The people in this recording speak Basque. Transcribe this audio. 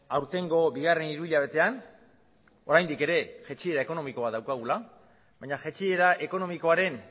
aurtengo bigarren hiru hilabetean oraindik ere jaitsiera ekonomiko bat daukagula baina jaitsiera ekonomikoaren